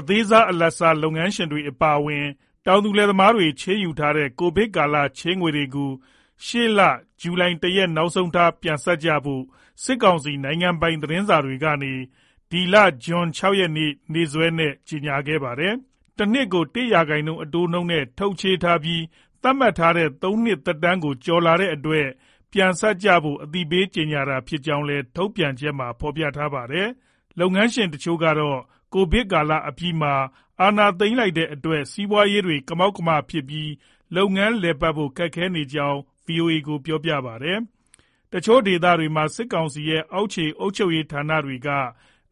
အသေးစား၊ အလတ်စား လုပ်ငန်းရှင်တွေ အပါအဝင် တောင်သူလယ်သမားတွေ ချေးယူထားတဲ့ ကိုဗစ်ကာလက ချေးငွေတွေကို အခုလာမဲ့ ဇူလိုင်လ ၁ ရက်မှာ နောက်ဆုံးထားပြီး ပြန်ဆပ်ကြဖို့ စစ်ကောင်စီက နိုင်ငံပိုင် သတင်းစာတွေကနေ ဇွန်လ ၆ ရက်နေ့ ရက်စွဲနဲ့ ကြေညာထားပါတယ်။ တနှစ်ကို ၁% အတိုးနဲ့ ထုတ်ချေးထားပြီး သတ်မှတ်ထားတဲ့ သုံးနှစ်သက်တမ်းကို ကျော်လာတဲ့အတွက် ပြန်ဆပ်ကြဖို့ အသိပေးကြေညာတာ ဖြစ်ကြောင်း ထုတ်ပြန်ချက်မှာ ဖော်ပြထားပါတယ်။ လုပ်ငန်းရှင်တချို့ကတော့ ကိုဗစ်အပြီးမှာ အာဏာသိမ်းလိုက်တဲ့အတွက် စီးပွားရေးတွေ ကမောက်ကမဖြစ်ပြီး လုပ်ငန်းလည်ပတ်ဖို့ ခက်ခဲနေကြောင်း ဗွီအိုအေကို ပြောပါတယ်။ တချို့ဒေသတွေမှာ စစ်ကောင်စီရဲ့ အောက်ခြေအုပ်ချုပ်ရေး ဌာနတွေက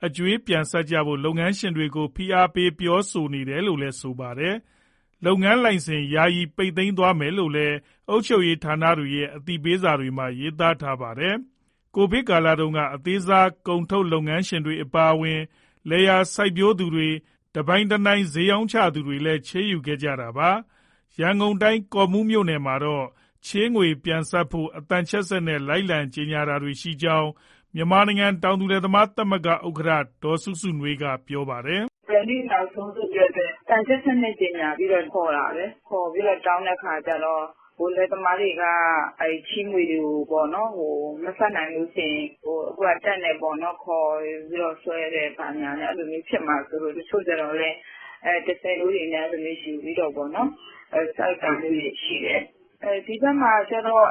အကြွေးပြန်ဆပ်ကြဖို့ လုပ်ငန်းရှင်တွေကို ဖိအားပေး ပြောဆိုနေတယ်လို့လည်း ဆိုပါတယ်။ လုပ်ငန်းလိုင်စင် ယာယီပိတ်သွားမယ်လို့လည်း အုပ်ချုပ်ရေးဌာနတွေရဲ့ အသိပေးစာတွေမှာ ရေးသားထားပါတယ်။ ကိုဗစ်ကာလတုန်းက အသေးစား ကုန်ထုတ်လုပ်ငန်းရှင်တွေ အပါအဝင် လယ်ယာစိုက်ပျိုးသူတွေ၊ တနိုင်တပိုင် စျေးရောင်းချသူတွေလည်း ချေးငွေယူခဲ့ကြတာပါ။ ရန်ကုန်တိုင်း၊ ကော့မှူးမြို့နယ်မှာတော့ ချေးငွေပြန်ဆပ်ဖို့ အသံချဲ့စက်နဲ့ လိုက်လံကြေညာတာရှိကြောင်း မြန်မာနိုင်ငံ တောင်သူလယ်သမားသမဂ္ဂ ဥက္ကဋ္ဌ ဒေါ်စုစုနွေးက ပြောပါတယ်။ " ဘယ်နေ့နောက်ဆုံးဆိုပြီးတော့ အသံချဲ့စက်နဲ့ ကြေညာပြီး ခေါ်တာပဲ။ ခေါ်ပြီးတော့ တောင်းတဲ့အခါကြတော့ လယ်သမားတွေက ချေးငွေတွေကို မဆပ်နိုင်ရင် တပ်နဲ့ပေါ့နော် ခေါ်ပြီးတော့ ဆွဲတယ်ဘာညာနဲ့ အဲလိုမျိုး ဖြစ်မှာစိုးလို့ တချို့ကြတော့လည်း ၁၀တိုးတွေနဲ့ ယူပြီးတော့ပေါ့နော် ဆပ်တာမျိုးတွေရှိတယ်။ ဒီဘက်မှာကြတော့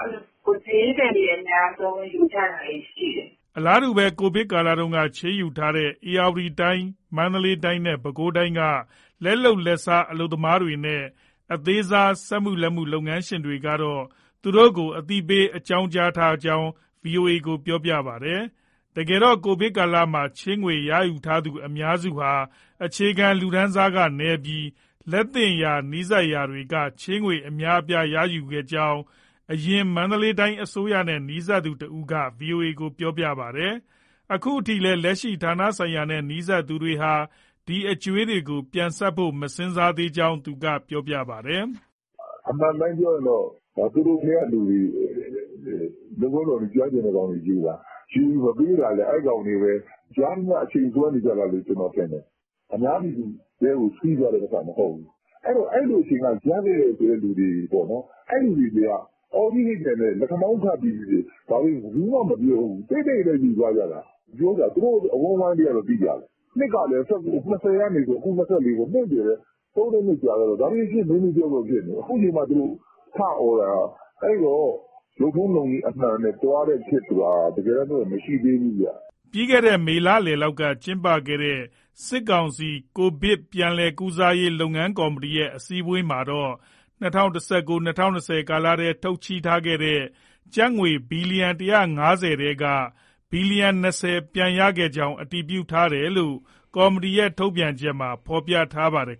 စျေးသည်တွေ အများဆုံးယူကြတာတွေရှိတယ်။" အလားတူပဲ ကိုဗစ်ကာလတုန်းက ချေးငွေရယူထားတဲ့ ဧရာဝတီတိုင်း၊ မန္တလေးတိုင်းနဲ့ ပဲခူးတိုင်းက လက်လုပ်လက်စား အလုပ်သမားတွေနဲ့ အသေးစား စက်မှု၊ လက်မှု လုပ်ငန်းရှင်တချို့ကတော့ သူတို့ကိုလည်း အသိပေး အကြောင်းကြားထားကြောင်း ဗွီအိုအေကို ပြောပါတယ်။ တကယ်တော့ ကိုဗစ်ကာလမှာ ချေးငွေရယူခဲ့သူ အများစုဟာ အခြေခံလူတန်းစားနည်းပြီး လက်သင့်ရာ၊ နီးစပ်ရာလူတွေက ချေးငွေအများအပြားကို ယူခဲ့ကြောင်း ယခင် မန္တလေးအစိုးရနဲ့ နီးစပ်သူတဦး ဗွီအိုအေကို ပြောပါတယ်။ အခုထိလည်း လက်ရှိဌာနဆိုင်ရာနဲ့ နီးစပ်သူတွေဟာ ဒီအကြွေးတွေကို ပြန်ဆပ်ဖို့ မစဉ်းစားကြောင်း သူကပြောပါတယ်။ " အမှန်အတိုင်းပြောရရင် သူတို့ထဲကလူတွေ လုပ်ထုံးလုပ်နည်း ကျွမ်းကျင်တဲ့ကောင်တွေယူတာ၊ ယူပြီး မပေးတာလည်း အဲကောင်တွေပဲ။ ရသမျှ အချိန်ဆွဲနေတာလို့ ကျနော်ထင်တယ်။ အများပြည်သူထဲကို စီးသွားတဲ့ပိုက်ဆံ မဟုတ်ဘူး။ အဲဒီတော့ အဲလိုအချိန်က ရခဲ့တယ်ဆိုတဲ့ သူတွေပေါ့နော် အဲလူတွေက အော်ကြီးဟစ်ကျယ်နဲ့ လက်ခမောင်းခတ်ပြီးတော့ ဘာမှမပြော တိတ်တိတ်ပဲ ယူသွားကြတာ၊ သူတို့အဝန်းအဝိုင်းလေးကတော့ သိကြတယ်။ နှစ်ကလည်း ၂၀ကနေ အခု၂၄ နှစ်ပဲ သုံးလေးနှစ်ကြာတော့ ဒါတွေ မေ့မေ့ပျောက်ပျောက်ဖြစ်နေပြီ။ အခု အချိန်မှ သူတို့ထအော်တာ။ အဲဒီတော့ လုပ်ထုံးလုပ်နည်း အမှန်နဲ့ သွားတဲ့ခေတ်ဆိုတာ တကယ်တမ်းပြောရင် မရှိသေးဘူးဗျ။" မေလလယ်လောက်မှာ ကျင်းပခဲ့တဲ့ စစ်ကောင်စီကိုဗစ်ပြန်လည်ကုစားရေး လုပ်ငန်းကော်မတီရဲ့ အစည်းအဝေးမှာတော့ ၂၀၁၉-၂၀၂၀ ကာလထဲ ထုတ်ချေးထားတဲ့ ကျပ်ငွေဘီလီယံ ၁၅၀ ထဲက ၂၀ ဘီလီယံ ပြန်ရခဲ့ကြောင်း အတည်ပြုခဲ့တယ်လို့ ကော်မတီရဲ့ ထုတ်ပြန်ချက်မှာ ဖေါ်ပြထားပါတယ်